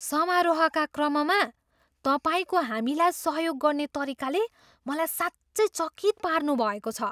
समारोहका क्रममा तपाईँको हामीलाई सहयोग गर्ने तरिकाले मलाई साँच्चै चकित पार्नुभएको छ!